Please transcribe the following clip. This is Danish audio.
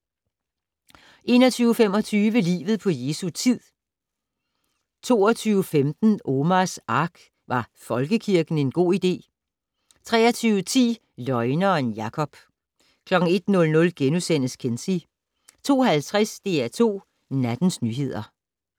21:25: Livet på Jesu tid 22:15: Omars Ark - Var folkekirken en god idé? 23:10: Løgneren Jakob 01:00: Kinsey * 02:50: DR2 Nattens nyheder